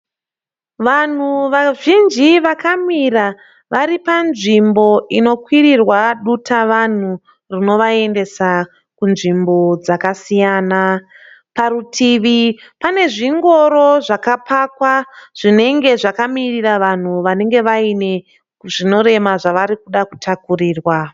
Vanhu vazhinji vakamira vari panzvimbo inokwirirwa dutavanhu rinovaendesa kunzvimbo dzakasiyana. Parutivi pane zvingoro zvakapakwa zvinenge zvakamirira vanhu vanenge vaune zvinorema zvavari kuda kutakurirwa.